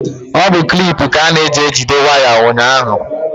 Ọ bụ klip ka a na-eji ejido waya n'ahụájá.